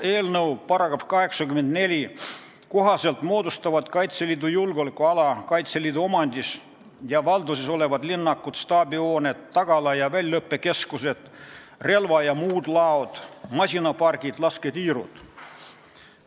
Eelnõu § 84 kohaselt moodustavad Kaitseliidu julgeolekuala Kaitseliidu omandis ja valduses olevad linnakud, staabihooned, tagala- ja väljaõppekeskused, relva- ja muud laod, masinapargid, lasketiirud.